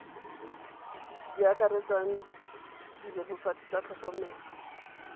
di akaretsang dibebofatsi tsa tlhokomelo